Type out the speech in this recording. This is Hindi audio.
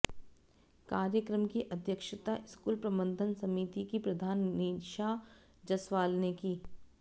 कार्यक्रम की अध्यक्षता स्कूल प्रबंधन समिति की प्रधान नीशा जसवाल ने की